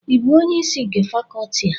ị bụ onye isi nke Fakọọti a?